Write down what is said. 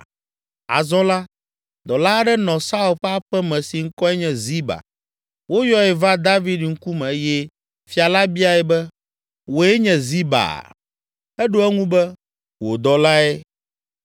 Azɔ la, dɔla aɖe nɔ Saul ƒe aƒe me si ŋkɔe nye Ziba. Woyɔe va David ŋkume eye fia la biae be, “Wòe nye Ziba?” Eɖo eŋu be, “Wò dɔlae.”